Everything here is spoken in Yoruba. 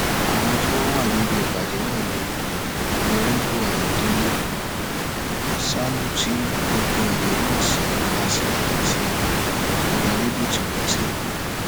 àwọn tí wọn wà níbi ìpàdé náà ni ọnàrẹbù ayọdẹlẹ àsálù tí gbogbo èèyàn mọ sí asler àti onírèbù timothy